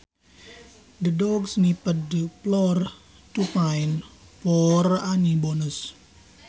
The dog sniffed the floor to find for any bones